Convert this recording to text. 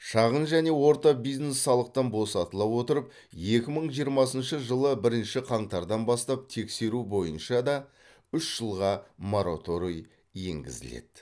шағын және орта бизнес салықтан босатыла отырып екі мың жиырмасыншы жылы бірінші қаңтардан бастап тексеру бойынша да үш жылға мораторий енгізіледі